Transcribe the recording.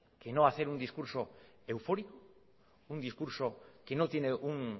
que no hacer un discurso eufórico un discurso que no tiene un